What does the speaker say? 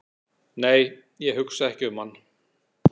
"""nei, hugsa ekki um hann!"""